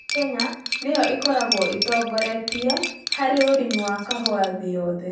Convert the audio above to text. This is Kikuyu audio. Kenya nĩ yo ĩkoragwo ĩtongoretie harĩ ũrĩmi wa kahũa thĩ yothe.